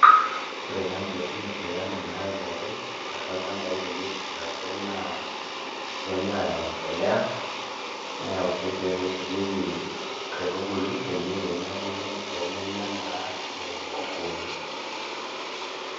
Ore taa nkiasin esirkali naayauaki atua ilchambai pee eret ilaturok naa etoinyua aayau embolea neyau sii irkeek oisujieki nkaitubulu pee menya naa nkukuuni.